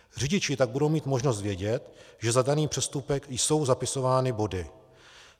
Řidiči tak budou mít možnost vědět, že za daný přestupek jsou zapisovány body.